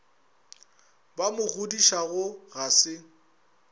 ba mo godišago ga se